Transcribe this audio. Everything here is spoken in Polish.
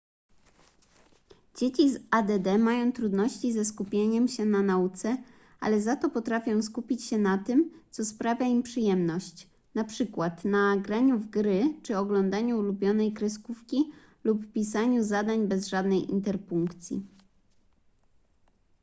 dzieci z add mają trudności ze skupieniem się na nauce ale za to potrafią skupić się na tym co sprawia im przyjemność np na graniu w gry czy oglądaniu ulubionej kreskówki lub pisaniu zdań bez żadnej interpunkcji